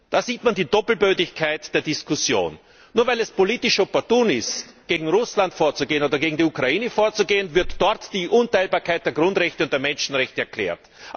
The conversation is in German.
Da sieht man die Doppelbödigkeit der Diskussion Nur weil es politisch opportun ist, gegen Russland oder gegen die Ukraine vorzugehen, wird dort die Unteilbarkeit der Grundrechte und der Menschenrechte erklärt.